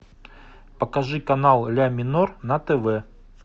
покажи канал ля минор на тв